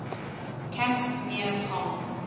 camp near palm